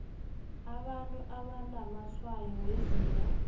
abantu abanamatshwayo wezinga